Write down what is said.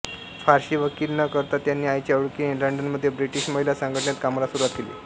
फारशी वकिली न करता त्यांनी आईच्या ओळखीने लंडनमध्ये ब्रिटिश महिला संघटनेत कामाला सुरूवात केली